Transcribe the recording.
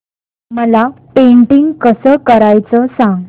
मला पेंटिंग कसं करायचं सांग